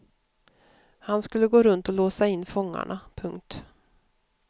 Han skulle gå runt och låsa in fångarna. punkt